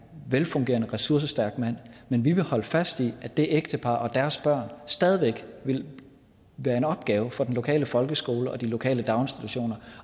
velfungerende ressourcestærk mand men vi vil holde fast i at det ægtepar og deres børn stadig væk vil være en opgave for den lokale folkeskole og de lokale daginstitutioner